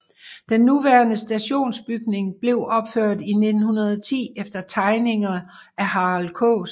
Den nuværende stationsbygning blev opført i 1910 efter tegninger af Harald Kaas